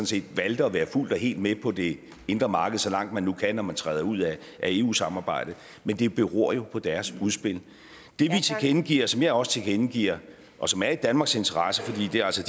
set valgte at være fuldt og helt med på det indre marked så langt man nu kan når man træder ud af eu samarbejdet men det beror jo på deres udspil det vi tilkendegiver og som jeg også tilkendegiver og som er i danmarks interesse fordi det altså